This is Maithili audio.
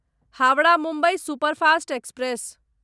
Howrah Mumbai superfast express